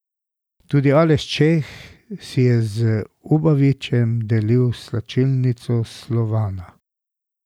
Tudi Aleš Čeh si je z Ubavičem delil slačilnico Slovana.